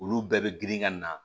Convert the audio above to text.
Olu bɛɛ bɛ girin ŋa na